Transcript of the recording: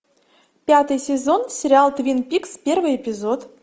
пятый сезон сериал твин пикс первый эпизод